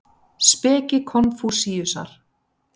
Speki Konfúsíusar.